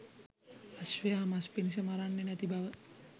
අශ්වයා මස් පිණිස මරන්නේ නැති බව?